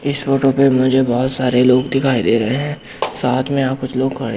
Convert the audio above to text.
इस फोटो पे मुझे बहोत सारे लोग दिखाई दे रहे है। साथ में यहां कुछ लोग खड़े--